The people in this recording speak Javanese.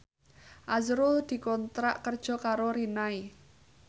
azrul dikontrak kerja karo Rinnai